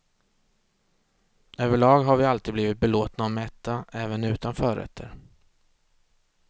Överlag har vi alltid blivit belåtna och mätta, även utan förrätter.